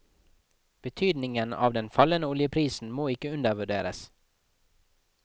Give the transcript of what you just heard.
Betydningen av den fallende oljeprisen må ikke undervurderes.